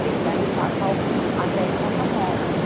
Tem da etapa um até a etapa nove